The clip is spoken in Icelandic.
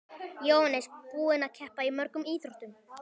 Jóhannes: Búinn að keppa í mörgum íþróttum?